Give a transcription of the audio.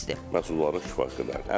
Məhsuldarlığın kifayət qədərdir.